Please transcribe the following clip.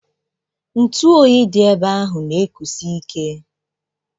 Ntụ oyi dị ebe ahụ na ekusi ike.